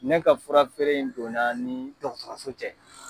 Ne ka fura feere in donna ni dɔgɔtɔrɔso cɛ.